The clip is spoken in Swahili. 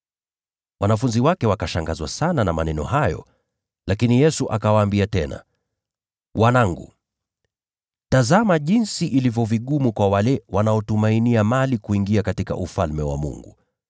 Wanafunzi wake wakashangazwa sana na maneno hayo. Lakini Yesu akawaambia tena, “Wanangu, tazama jinsi ilivyo vigumu kwa wale wanaotumainia mali kuingia katika Ufalme wa Mungu.